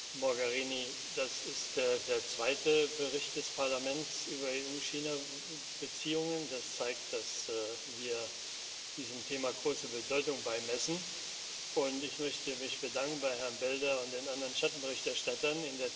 Frau Mogherini, das ist der zweite Bericht des Parlaments über EU China Beziehungen. Das zeigt, dass wir diesem Thema größere Bedeutung beimessen, und ich möchte mich bedanken bei Herrn Belder und den anderen Schattenberichterstattern.